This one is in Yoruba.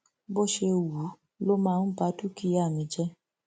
bó ṣe wù ú ló máa ń ba dúkìá mi jẹ